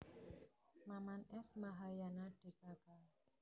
Maman S Mahayana dkk